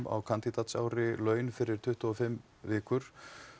á kandídatsári laun fyrir tuttugu og fimm vikur